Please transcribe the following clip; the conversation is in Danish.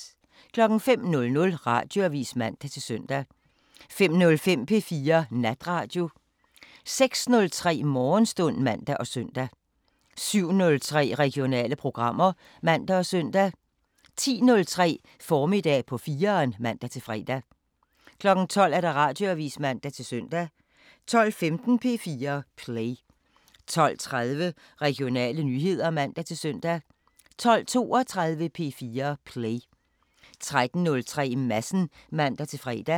05:00: Radioavisen (man-søn) 05:05: P4 Natradio 06:03: Morgenstund (man og søn) 07:03: Regionale programmer (man og søn) 10:03: Formiddag på 4'eren (man-fre) 12:00: Radioavisen (man-søn) 12:15: P4 Play 12:30: Regionale nyheder (man-søn) 12:32: P4 Play 13:03: Madsen (man-fre)